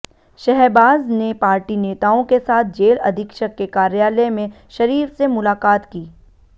शहबाज ने पार्टी नेताओं के साथ जेल अधीक्षक के कार्यालय में शरीफ से मुलाकात की